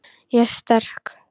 Ég er sterk.